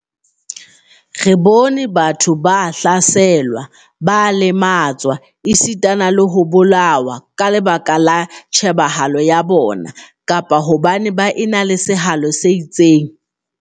Re bone batho ba hlaselwa, ba lematswa, esita le ho bolawa ka lebaka la tjhebahalo ya bona kapa hobane baenale sehalo se itseng.